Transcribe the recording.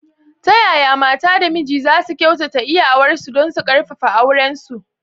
Ta yaya mata da miji za su kyautata iyawarsu don su ƙarfafa aurensu?